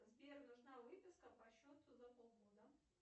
сбер нужна выписка по счету за полгода